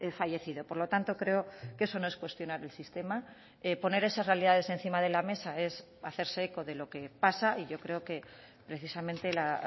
fallecido por lo tanto creo que eso no es cuestionar el sistema poner esas realidades encima de la mesa es hacerse eco de lo que pasa y yo creo que precisamente la